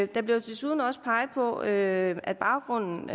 der bliver desuden også peget på at at baggrunden